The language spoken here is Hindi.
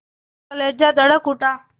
कलेजा धड़क उठा